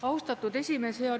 Austatud esimees!